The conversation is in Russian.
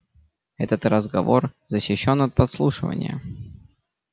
этот разговор защищён от подслушивания